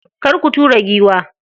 Kar ku tura giwa.